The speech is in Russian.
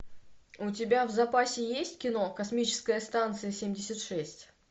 у тебя в запасе есть кино космическая станция семьдесят шесть